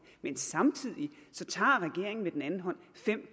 men samtidig tager regeringen med den anden hånd fem